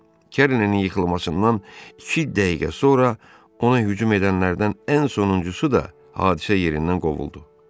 Kerlinin yıxılmasından iki dəqiqə sonra ona hücum edənlərdən ən sonuncusu da hadisə yerindən qovuldu.